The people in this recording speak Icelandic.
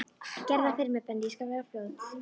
Gerðu það fyrir mig Benni, ég skal vera fljót.